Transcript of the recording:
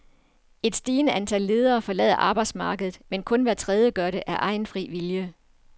Et stigende antal ledere forlader arbejdsmarkedet, men kun hver tredje gør det af egen fri vilje.